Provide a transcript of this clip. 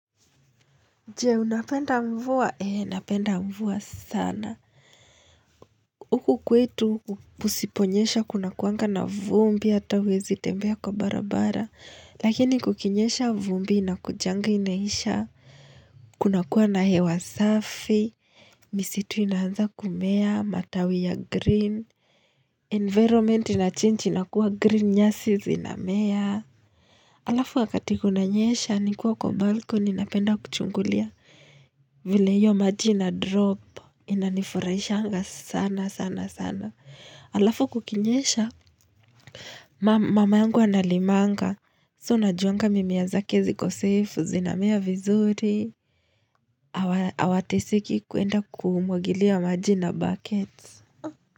Je, unapenda mvua? Ee, napenda mvua sana. Huku kwetu kusiponyesha kunakuanga na vumbi, hata huwezi tembea kwa barabara. Lakini kukinyesha vumbi inakujanga inaisha. Kuna kuwa na hewa safi. Misitu inaanza kumea, matawi ya green. Environment inachange inakuwa green nyasi zinamea. Alafu wakati kunanyesha nikiwa kwa balkoni napenda kuchungulia vile hiyo maji ina drop inanifurahishanga sana sana sana. Alafu kukinyesha mama yangu analimanga. So unajuanga mimea zake ziko safe, zinamea vizuri. Hawateseki kuenda kumwagilia maji na buckets.